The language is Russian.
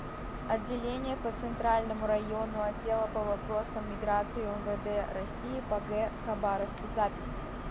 отделение по центральному району отдела по вопросам миграции умвд россии по г хабаровску запись